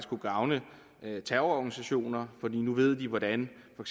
kunne gavne terrororganisationer for nu ved de hvordan for